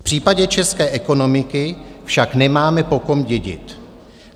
V případě české ekonomiky však nemáme po kom dědit.